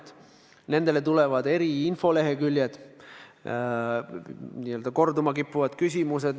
Nende kodulehekülgedele tulevad eri infoleheküljed, kus on näiteks n-ö korduma kippuvad küsimused.